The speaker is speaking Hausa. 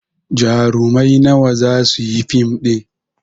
Jarumai nawa za su yi fim ɗin?